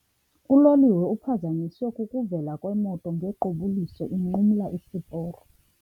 Uloliwe uphazanyiswe kukuvela kwemoto ngequbuliso inqumla isiporo.